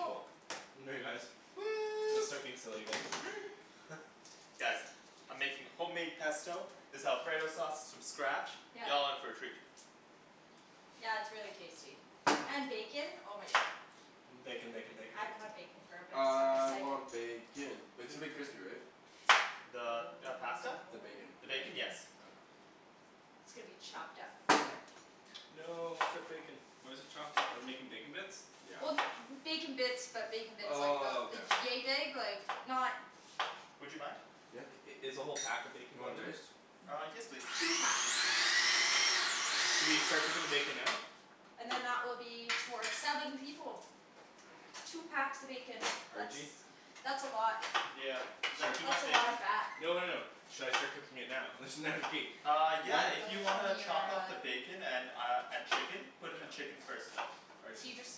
Cool. guys. Gonna Woo! start being silly again. Guys, I'm making homemade pesto, this alfredo sauce from scratch, Yep. y'all in for a treat. Yeah it's really tasty. And bacon? Oh my God. Bacon, bacon, bacon, I haven't bacon. had bacon for a bit so I'm really I excited. want bacon! But it's gonna be crispy, right? The Oh, pasta? The bacon. The the bacon? bacon. Yes. Okay. It's gonna be chopped up into it. No, strip bacon. Why's it chopped up? Are we making bacon bits? Yeah. Well bacon bits, but bacon bits like, Oh about, okay. yea big? Like not Would you mind? Yeah. I- is the whole pack of bacon You want going in there? diced? Uh, yes please. Two packs. Should we start cooking the bacon now? And then that will be for seven people. Two packs of bacon. That's, Arjie? that's a lot. Yeah. Is that too That's much a lot bacon? of fat. No no no. Should I start cooking it now? There's Uh yeah, Oh if you that's wanna from your, chop up uh. the bacon and uh and chicken? Put in the chicken first though. So Arjan, you just,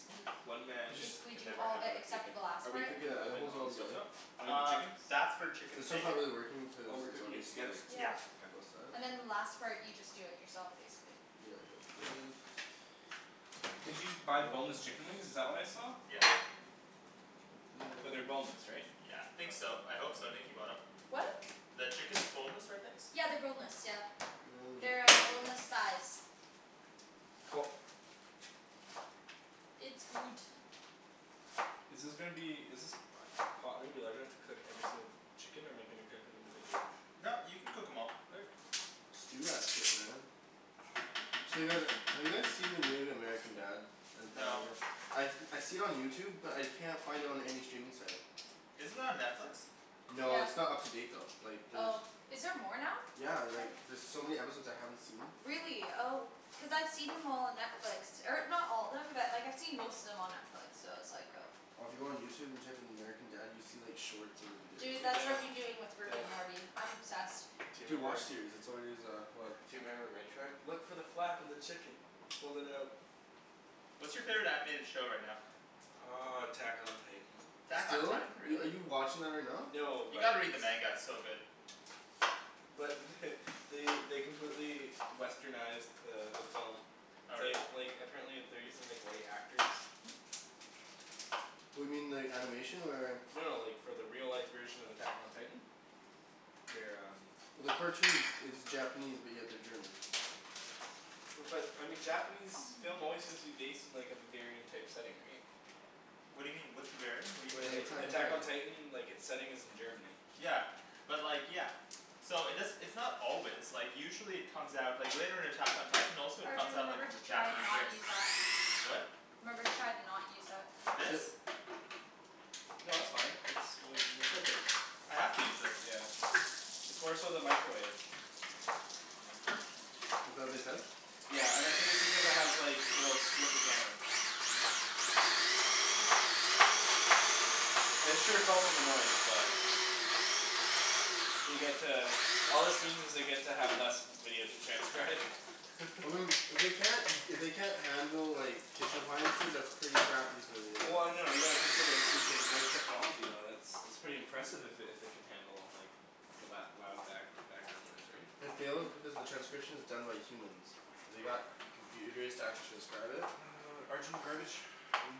one man You just basically can do never all have the, enough except for bacon. the last Are we part? cooking the Yeah and it oven holds it all on the stove together. top? Or the Uh, chicken? that's for chicken This and one's not bacon. really working Oh, cuz we're it's cooking already it together. sliced d- Yeah. Yeah. on K. both sides. And then the last part you just do it yourself basically. Yeah like this. Did you buy boneless chicken wings? Is This that what I saw? Yeah. Like this But they're boneless, right? Yeah. Think so. I hope so, Nikki bought em. What? The chicken is boneless, right Nikks? Yeah they're boneless, yeah. Now we just They're go like. boneless thighs. Cool. It's good. Is this gonna be, is this pot gonna be large enough to cook every single chicken or am I gonna cook them individually? No, you can cook em all. Okay. Just do that shit man. So you guys, have you guys seen the new American Dad and No. Family Guy? I I see it on YouTube but I can't find it on any streaming site. Is it on Netflix? No, Yeah. it's not up to date though. Like there's... Oh. Is there more now? Yeah like there's so many episodes I haven't seen. Really? Oh. Cuz I've seen them all on Netflix. Or not all of them, but like I've seen most of them on Netflix, so I was like oh. Well if you go on YouTube and type in American Dad you see like shorts of the videos. Dude, Dude, that's I what know. I've been doing with Rick Damn. and Morty. I'm obsessed. Do you Dude, remember WatchSeries. That's already is, go ahead Do you remember Red Truck? Look for the flap in the chicken! Fold it out. What's your favorite animated show right now? Uh, Attack on Titan. Attack on Are Titan? are Really? you watching that right now? No, You but gotta read the manga. It's so good. but they they completely westernized the the film. Oh really? They like, apparently they're using like white actors. What do you mean, the animation or? No, like, for the real life version of Attack on Titan. They're um Well the cartoon it's Japanese but yeah they're German. But I mean Japanese film always seems to be based in like a Bavarian type setting, right? What do you mean? What's Bavarian? What do Like The like Attack on Attack on you Titan. Titan, like its setting is in Germany. Yeah. But like, yeah. So it does - it's not always, like usually it comes out, like later in Attack on Titan also it comes Arjan, out like remember as to a try to Japanese not race. use that. What? Remember to try to not use that. This? No that's fine, it's like, we're cooking. I have to use this. Yeah. It's more so the microwave. Is that what they said? Yeah. And I think it's because it has like, you know, it'll strip the camera. I'm sure it's also the noise, but They get to, all this means is they get to have less video to transcribe. Well I mean, if they can't if they can't handle like kitchen appliances, that's pretty crappy for the uh Well no, you gotta consider too it's like voice technology, though, it's, that's pretty impressive if it if it can handle like the lou- loud back background noise, right? It fails because the transcription is done by humans. They got computers to actually transcribe it? Arjan, garbage?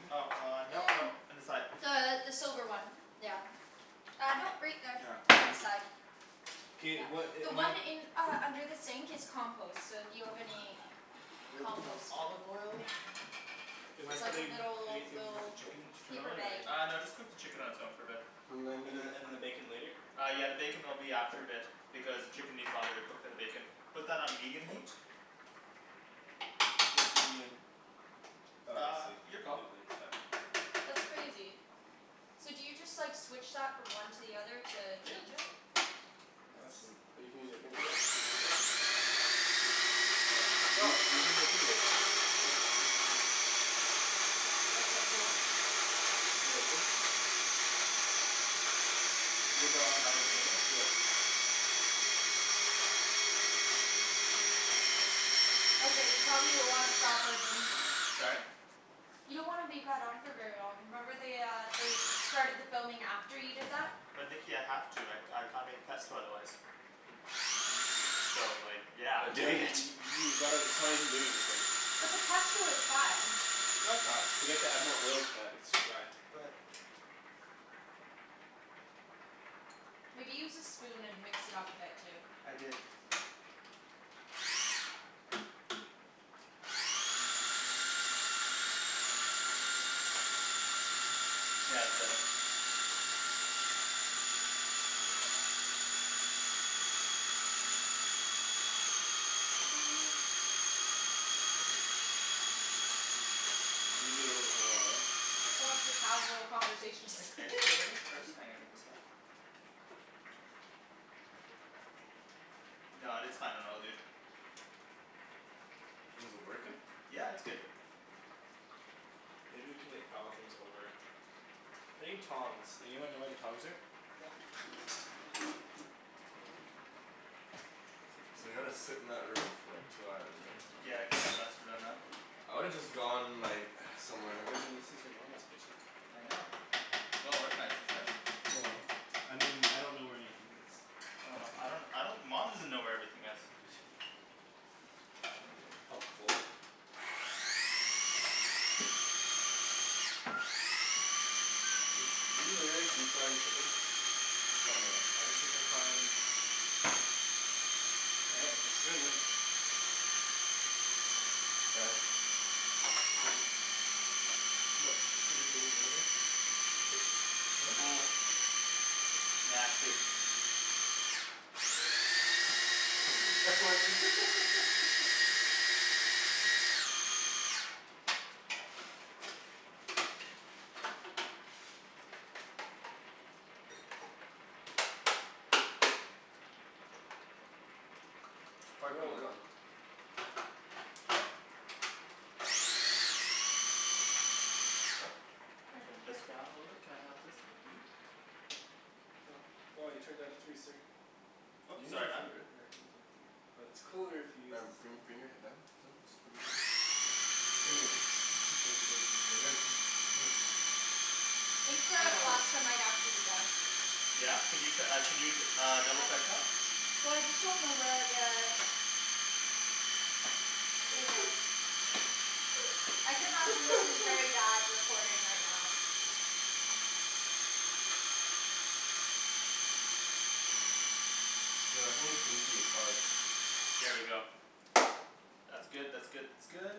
Oh uh, no no, Mm. on the side. The the silver one. Yeah. Uh no right there. Ah. On the side. K, Yeah. what a- The am I one in, uh under the sink is compost. So if you have any Little bit more compost, olive oil. just saying. Am I It's like a putting little, anything with the little chicken to turn paper on, bag. or? Uh no just cook the chicken on its own for a bit. And then and then the bacon later? Uh yeah the bacon will be after a bit because the chicken needs longer to cook than the bacon. Put that on medium heat? What's medium? Oh I Uh, see. your call. Wait wait, seven. That's crazy. So do you just like switch that from one to the other to Yeah. change it? Nuts. But you can use your finger right? Yep. Hmm. You Sup? you can use that too though. That's so cool. Was that on high to begin with? Yeah. Okay you probably wanna stop Arjan. Sorry? You don't wanna leave that on for very long. Remember they uh they started the filming after you did that? But Nikki I have to, I I can't make pesto otherwise. So like yeah, But I'm you doing haven't y- it. y- you gotta, it probably isn't doing anything. But the pesto is fine. No it's not. You have to add more oil to that. It's too dry. Go ahead. Maybe use the spoon and mix it up a bit too. I did. Yeah it's better. Mm. Maybe a little bit lower, eh? So much for casual conversation. Let me taste it a little bit first? Hold on, give me a sec. No, it's fine. It all good. Is it working? Yeah it's good. Maybe we can like pile things over it. I need tongs. Anyone know where the tongs are? Yeah. So they gotta sit in that room for like two hours right? Yeah it kind of sucks for them, huh? I would have just gone like, somewhere. Arjan, this is your Mama's kitchen. I know. Well organized, isn't it? Well, I mean, I don't know where anything is. Oh no. I don't, I don't. Mom doesn't know where everything is. Helpful. Are you literally deep frying chicken? Somewhat. I just have to try and... Looking good. Sorry? What? Nasty. Try putting the lid on. Oh. Here, Turn this here. down a little bit, can I have this lid? Well you turned it down to three sir. You Oop, can use sorry your man. finger. Yeah I can use my finger. But it's cooler if you use Ryan this bring thing... bring your head down. Just bring it in. Here. Ryan just, come on. I think the pasta might actually be done. Yeah? Could you uh could you uh double I, check that? well I just don't know where the... I could imagine this is very bad recording right now. Dude I think it's goopy as fuck. There we go. That's good, that's good, that's good.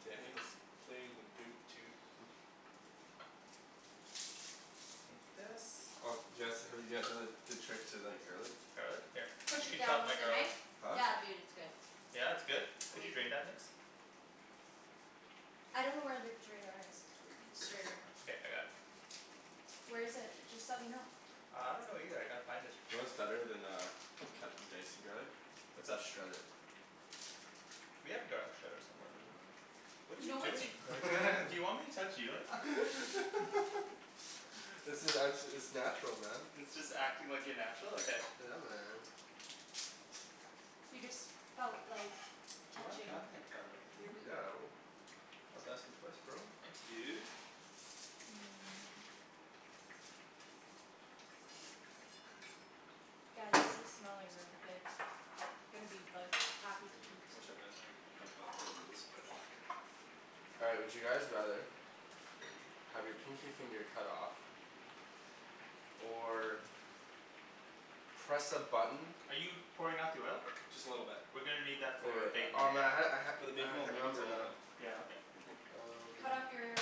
Daniel's playing the boot toot. Take this. Oh do you guys, have you guys heard the trick to like garlic? Garlic? Here. Push You it can chop down my with a garlic. knife? Huh? Yeah dude it's good. Yeah it's good? Can you drain that Nikks? I don't know where the drainer is. The strainer. Okay. I got it. Where is it? Just let me know. Uh, I don't know either. I gotta find it. You know what's better than uh cutting dicing garlic? What's up? Just shred it. We have a garlic shredder somewhere, don't we? What are You you know what doing? Do you want me to touch you like that? This is, I'm it's natural man. It's just acting like you're natural? Okay. Yeah man. You just felt like Do you wanna touching cut up that garlic for your me? boob. Yeah I will. Don't have to ask me twice bro. Thanks dude. Hmm. Guys this is smelling really good. Gonna be like, happy to Hmm. eat. Whichever is fine. It's uncomfortable as it looks. All right, would you guys rather Have your pinky finger cut off? Or. Press a button Are you pouring out the oil? Just a little bit. We're gonna need that Wait for wait. bacon Oh later. man I had For the it. bacon I we'll can't make it remember it now. Yeah, okay. Um. Cut off your?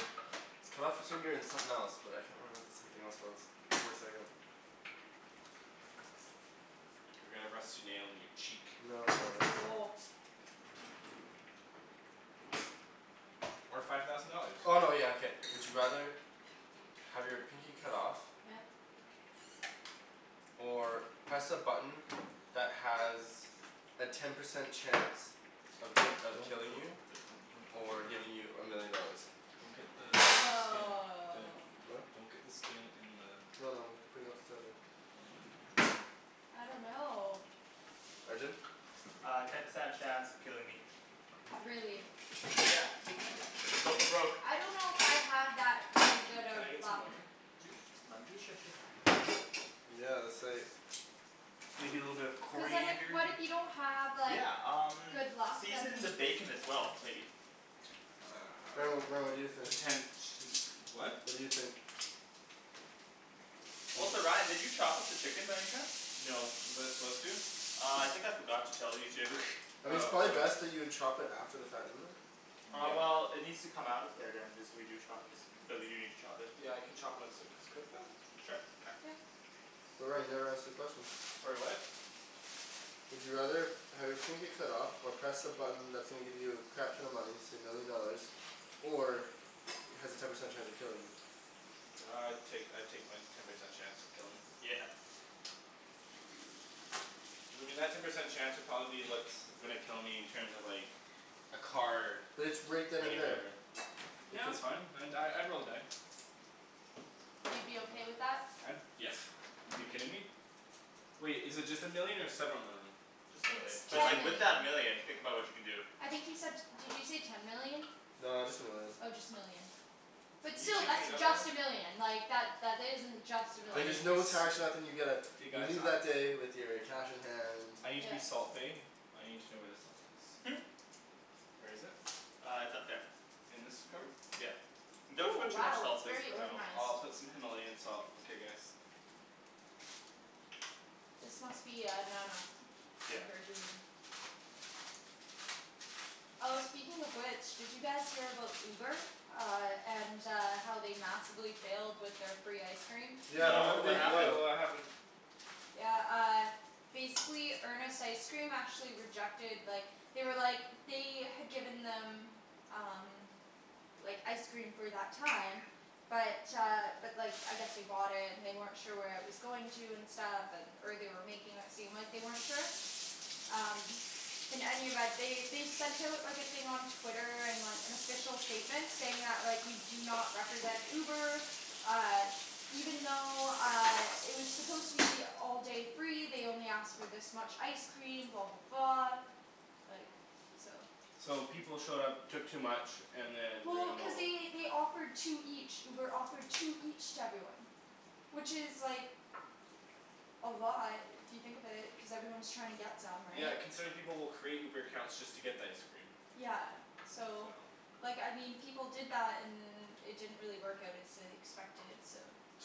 Cut off your finger and something else. But I can't remember what the something else was. Give me a second. Or get a rusty nail in your cheek. No no no, it's uh. Oh. Or five thousand dollars. Oh no yeah okay. Would you rather Have your pinky cut off? Yeah. Or press a button that has a ten percent chance of of Don't. killing you? Or giving you a million dollars. Don't get the skin... Woah. Huh? Don't get the skin in the... No no. I'm putting it off to the side here. I don't know. Arjan? Uh, ten percent chance of killing me. Really? Yeah. Go for broke. I don't know if I have that really Can good can of I get some luck. lemon juice? Lemon juice? Sure sure. Yeah that's like. Maybe a little bit of Cuz then if coriander? what if you don't have like Yeah um good luck then season the bacon as well maybe. Ryan what, what do you Um think? potential what? What do you think? Also Ryan did you chop up the chicken by any chance? No, was I supposed to? Uh I think I forgot to tell you to. I mean it's Oh probably okay. best that you chop it after the fact, isn't it? Uh Yeah. well it needs Mm. to come out of there then if we do chop it. Because we do need to chop it. Yeah I can chopped once it's cooked though? Sure. Okay. Yep. Ryan you never answered the question. Sorry what? Would you rather have your pinky cut off, or press a button that's gonna give you a crap ton of money, say a million dollars, or has a ten percent chance of killing you? Uh I'd take I'd take my ten percent chance of killing. Yeah. I mean that ten percent chance would probably be what's gonna kill me in terms of like, a car But it's right then and running me there. over. It Yeah could that's fine, I'd die, I'd roll the die. You'd be okay with that? I'd, yeah. You kidding me? Wait, is it just a million or several million? Just a It's million. But Just ten a like with million. that million, think about what you can do. I think he said, did you say ten million? No, just a million. Oh just a million. But You still, can that's just a million. Like that isn't just a I But need there's million. no to tax or nothing, you get a, You you guys? leave that day with your cash in hand I need to be Yeah. salt bae; I need to know where the salt is. Hmm? Where is it? Uh it's up there. In this cupboard? Yeah. Don't Ooh put too much wow salt it's please. very No. organized. I'll put some Himalayan salt, okay guys. This must be uh Nana. And Yeah. her doing. Oh speaking of which, did you guys hear about Uber? Uh and uh how they massively failed with their free ice cream? Yeah but how No, No, did what they happened? fail? what happened? Yeah uh, basically Earnest Ice Cream actually rejected, like, they were like, they had given them, um. Like ice cream for that time, but uh but like I guess they bought it and they weren't sure where it was going to and stuff, and or they were making it seem like they weren't sure. Um. In any event, they they sent out like a thing on Twitter, and like an official statement saying that like, we do not represent Uber, uh, even though uh it was supposed to be all day free, they only asked for this much ice cream, blah blah blah Like, so. So people showed up, took too much, and then Well, ruined the cuz whole... they they offered two each. Uber offered two each to everyone. Which is like. A lot if you think of it, cuz everyone's trying to get them, Yeah right? considering people will create Uber accounts just to get the ice cream. Yeah so, So. like I mean people did that and it didn't really work out as they expected, so.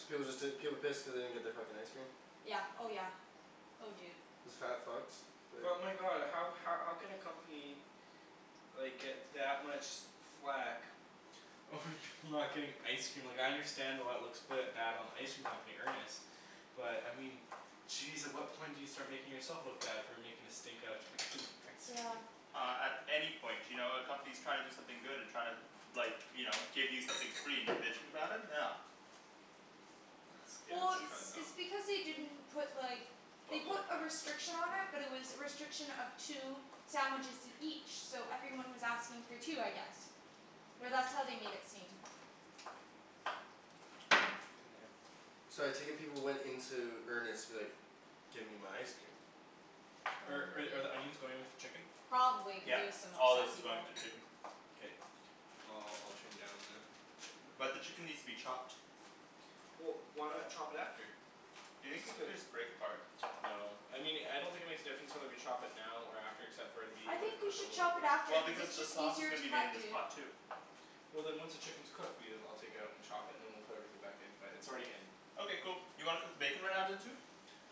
So was it that, people pissed cuz they didn't get their fucking ice cream? Yeah. Oh yeah. Oh dude. Isn't that fucked? Like But my god, how how can a company like get that much flak over people not getting ice cream? Like I understand why it looks quite bad on the ice cream company, Earnest, but I mean jeez at what point do you start making yourself look bad for making a stink out of fucking ice cream? Yeah. Uh at any point. You know, a company's trying to do something good and trying to like, you know, give you something free and you're bitching about it? No. Yeah, Well it's it's kind of dumb. it's because they didn't put like, they Buttload put of a pasta. restriction on it Mhm. but it was a restriction of two sandwiches each, so everyone was asking for two I guess. Or that's how they made it seem. So I take it people went into Earnest like, give me my ice cream. Oh I'm Are with are the you. onions going with the chicken? Probably cuz Yeah. there was some All of this upset is going people. to the chicken. Okay. I'll I'll turn down the the chicken there. But the chicken needs to be chopped. Well why not chop it after? Do you think we could just break apart? No. I mean I don't think it makes a difference whether we chop it now or after except for it'll be, it I would have think we cooked a should little bit chop it after Well quicker. cuz because it's the just sauce is easier to gonna be made in cut, this dude. pot too. Well then once the chicken's cooked, we'll, I'll take it out and chop it and then we'll put everything back in. But it's already in. Okay cool. You wanna cook the bacon right now then too?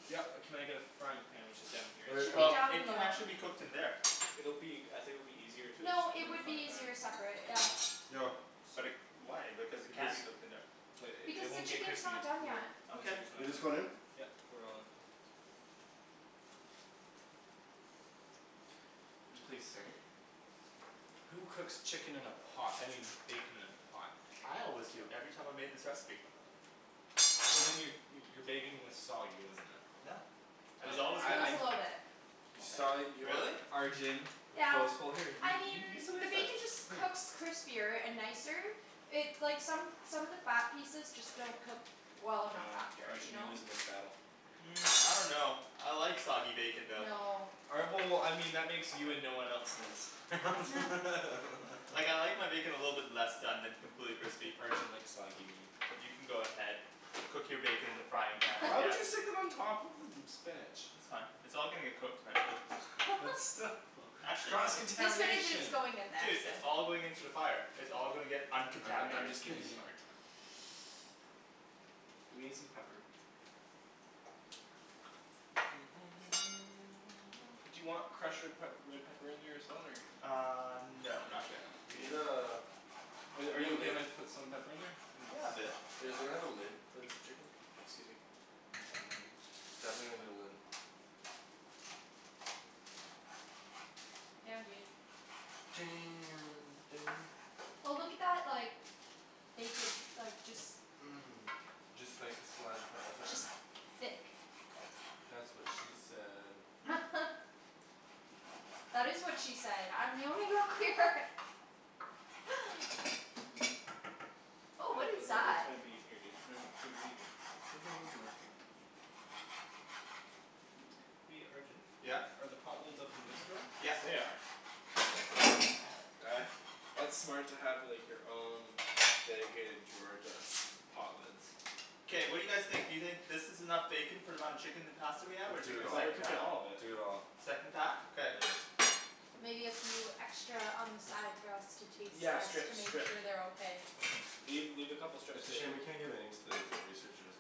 Yep, can I get a frying pan which is down here? Should be Well down it can below. actually be cooked in there. It'll be, I think it'll be easier to just No, cook it it in the would frying be pan? easier separate. Yeah. Yo. But it, why, because it can be cooked in there. But Because it the won't get chicken's crispy. not done yet. Yep You Okay. want just this one in? pour it all in. And please stir. Who cooks chicken in a pot? I mean bacon in a pot? I always do. Every time I made this recipe. Well then your your bacon was soggy, wasn't it. No. It was I, always Uh it good. I was I. a little bit. You, A little sorry, bit. you what? Really? Arjan. Yeah. here. You I mean you you can the make that, bacon just here. cooks crispier and nicer, it's like, some some of the fat pieces just don't cook well enough Yeah. after. You Arjan, you're know? losing this battle. Hmm. I dunno. I like soggy bacon though. No. All right, well, I mean that makes you and no one else in this. Huh. Like I like my bacon a little bit less done than completely crispy. Arjan likes soggy meat. You can go ahead, cook your bacon in the frying pan I Why would guess. you stick it on top of the spinach? That's fine. It's all gonna get cooked eventually. But still. Actually no. Cross The spinach is contamination? going in there, Dude, so. it's all going into the fire. It's all gonna get I'm I'm uncontaminated. just giving you a hard time. Let me get some pepper. Do you want crushed red pep red pepper in there as well or? Uh no No? No. not yet. We need uh Are We need a you okay lid. if I put some pepper in there? Yeah a bit. Is there we have a lid for this chicken? Excuse me. Um. Definitely need a lid. Damn dude. Damn Daniel. Oh look at that like, bacon, like, just Mm. Just like a slide of Just thick. That's what she said. That is what she said! I'm the only girl here! Oh what is this that? might be in here dude. No no dude, what are you doing. There's no lids in there. Hey Arjan? Yeah? Are the pot lids up in this drawer? Yeah. They are. Uh, that's smart to like have your own dedicated drawer to pot lids. K, what do you guys think, do you think this is enough bacon for the amount of chicken and pasta we have or Do take I it the all. thought we're second cooking pack? all of it. Do it all. Second pack? Okay. Yeah. Maybe a few extra on the side for us to taste Yeah just to strips, make strips. sure they're okay. Leave, leave a couple strips It's of a shame bacon. we can't give any to the researchers.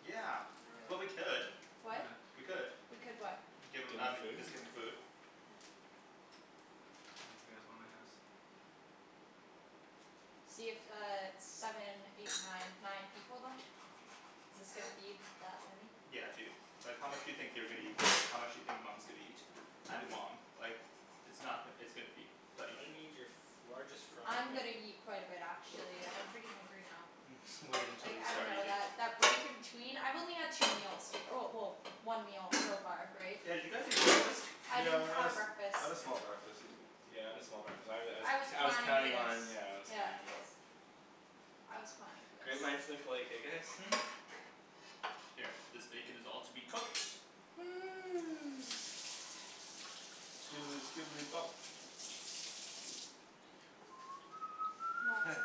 Yeah. Well we could. What? We could. We could what? Give Give them them um, the food? team the food. Yeah. in the house. See it's uh seven, eight, nine nine people then? This gonna feed that many? Yeah dude. Like how much do you think they're gonna eat, how much do you think Mom's gonna eat? And mom. Like, it's not, it's gonna feed thirty I people. need your largest frying I'm pan. gonna eat quite a bit actually, I'm pretty hungry now. Mhm. Wait until Like you I start dunno eating. that break in between, I've only had two meals, well well one meal so far, right? Yeah did you guys eat breakfast? I didn't Yeah I had have breakfast. I had a small breakfast. Yeah I had a small breakfast. I was I was I was I was planning for counting this. on, yeah I was Yeah. counting on... I was planning for Great this. minds think alike, eh guys? Hmm? Here. This bacon is all to be cooked. Skidely skidely bop. Heh. Lots of